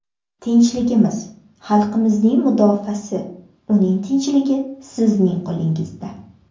Tinchligimiz, xalqimizning mudofaasi, uning tinchligi sizning qo‘lingizda.